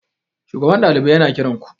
shugaban ɗalibai yana kiranku?